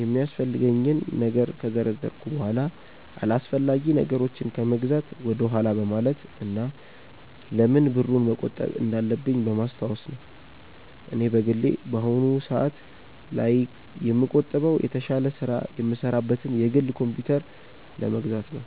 የሚያስፈልገኝን ነገር ከዘረዘርኩ በኋላ አላስፈላጊ ነገሮችን ከመግዛት ወደኋላ በማለት እና ለምን ብሩን መቆጠብ እንዳለብኝ በማስታወስ ነው። እኔ በግሌ በአሁኑ ሰአት ላይ የምቆጥበው የተሻለ ስራ የምሰራበትን የግል ኮምፕዩተር ለመግዛት ነው።